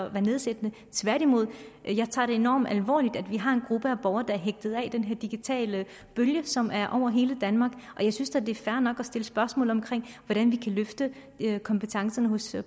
at være nedsættende tværtimod jeg tager det enormt alvorligt at vi har en gruppe af borgere der er hægtet af den her digitale bølge som er over hele danmark og jeg synes da det er fair nok at stille spørgsmål om hvordan vi kan løfte kompetencerne hos